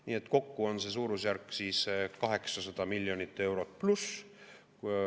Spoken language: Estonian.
Nii et kokku on see suurusjärk 800+ miljonit eurot.